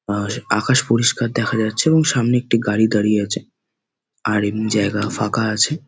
আর আকাশ পরিষ্কার দেখা যাচ্ছে এবং সামনে একটি গাড়ি দাঁড়িয়ে আছে আর এমনি জায়গা ফাঁকা আছে।